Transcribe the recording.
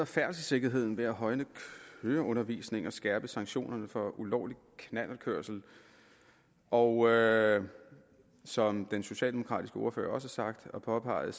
færdselssikkerheden ved at højne køreundervisningen og skærpe sanktionerne for ulovlig knallertkørsel og som den socialdemokratiske ordfører også har sagt og påpeget